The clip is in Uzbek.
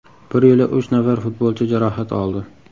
Bir yo‘la uch nafar futbolchi jarohat oldi.